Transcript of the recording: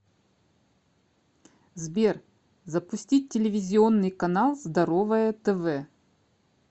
сбер запустить телевизионный канал здоровое тв